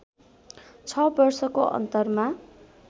६ वर्षको अन्तरमा